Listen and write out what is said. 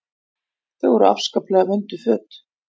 Þetta voru afskaplega vönduð föt.